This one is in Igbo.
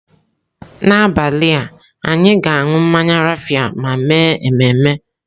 N'abalị, anyị ga-aṅụ mmanya raffia ma mee ememe.